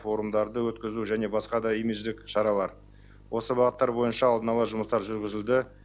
форумдарды өткізу және басқа да имидждік шаралар осы бағыттар бойынша алдын ала жұмыстар жүргізілді